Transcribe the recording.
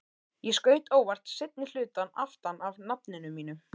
Ég skaut óvart seinni hlutann aftan af nafninu mínu.